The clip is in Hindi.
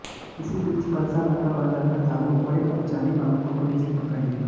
इसी बीच परसाभाठा बाजार में दादू और एक अपचारी बालक को पुलिस ने पकड़ लिया